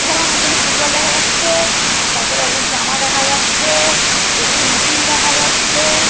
এখানে অনেকগুলো ফুটবল দেখা যাচ্ছে। তারপর অনেকগুলো জামা দেখা যাচ্ছে। এ.সি. মেশিন দেখা যাচ্ছে।